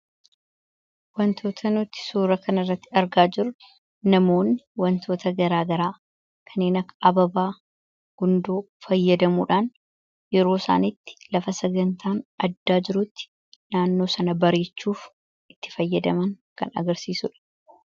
Wantoota nuti suura kanarratti argaa jirru namoonni wantoota garaa garaa kanneen akka habaaboo, gundoo fayyadamuudhaan yeroo isaan itti lafa sagantaan addaa jirutti naannoo sana bareechuuf itti fayyadaman kan agarsiisudha.